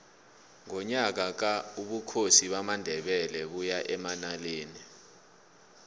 ngonyaka ka ubukhosi bamandebele baya emanaleli